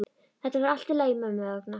Þetta verður allt í lagi mömmu vegna.